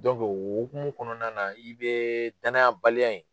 o hokumu kɔnɔna na, i bɛ danayabaliya in